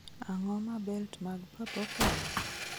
Ang�o ma belt mag papo konyo?